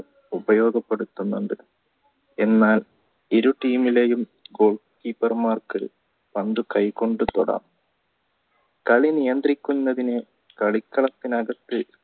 ഉപയോഗപെടുത്തുന്നത് എന്നാൽ ഇരു team ലെയും പന്ത് കൈ കൊണ്ട് തൊടാം കളി നിയദ്രിക്കുന്നതിനെ കളിക്കളത്തിനകത്തു